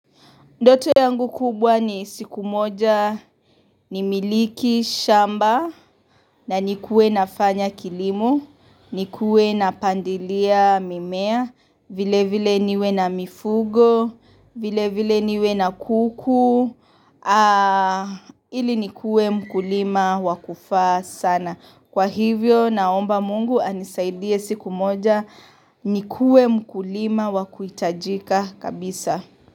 Ndoto yangu kubwa ni siku moja nimiliki shamba na nikuwe nafanya kilimo, nikuwe napandilia mimea, vile vile niwe na mifugo, vile vile niwe na kuku, ili nikuwe mkulima wakufaa sana. Kwa hivyo naomba mungu anisaidie siku moja nikuwe mkulima wakuitajika kabisa.